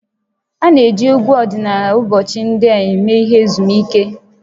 A na-eji egwu ọdịnala ụbọchị ndị a eme ihe ezumike